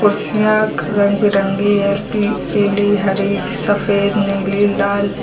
कुर्सियां रंग बिरंगी हैं पी पीली हरी सफेद नीली लाल।